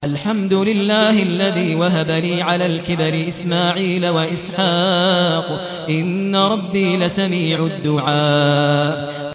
الْحَمْدُ لِلَّهِ الَّذِي وَهَبَ لِي عَلَى الْكِبَرِ إِسْمَاعِيلَ وَإِسْحَاقَ ۚ إِنَّ رَبِّي لَسَمِيعُ الدُّعَاءِ